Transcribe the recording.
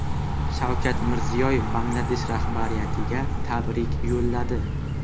Shavkat Mirziyoyev Bangladesh rahbariyatiga tabrik yo‘lladi.